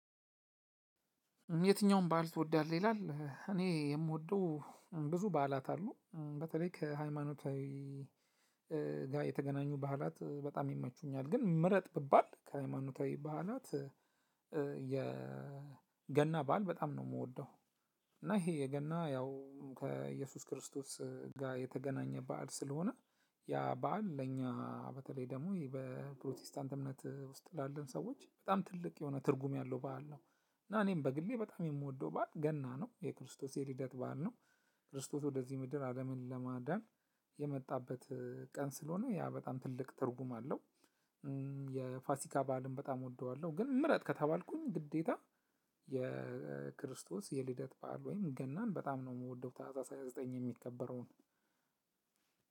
የትኛውም በዓል ትወዳለህ? ይላል እኔ የምወደው ብዙ በዓላት አሉ በተለይ ከሃይማኖታዊ ጋር የተገናኙ ባህላት በጣም ይመቹኛል። ግን ምረጥ ቢባል ከሃይማኖታዊ ባህላት የ ገና ባል በጣም ነው የምወደው። እና ይሄ የገና ያው ከኢየሱስ ክርስቶስ ጋር የተገናኘ በዓል ስለሆነ ያህ በዓል ለኛ በተለይ ደግሞ በፕሮቴስታንት እምነት ውስጥ ላለን ሰዎች በጣም ትልቅ የሆነ ትርጉም ያለው በዓል ነው። እና እኔም በግሌ በጣም የምወደው በዓል ገና ነው የክርስቶስ የልደት በዓል ነው። ክርስቶስ ወደዚህ ምድር አለምን ለማዳን የመጣበት ቀን ስለሆነ ያ በጣም ትልቅ ትርጉም አለው። የፋሲካ በዓልም በጣም እወደዋለሁ ግን ምረጥ ከተባልኩኝ ግዴታ የክርስቶስ የልደት በዓል ወይም ገናን በጣም ነው የምወደው። ታህሳስ ሃያ ዘጠኝ የሚከበረውን